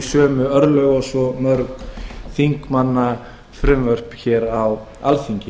sömu örlög og mörg þingmannafrumvörp á alþingi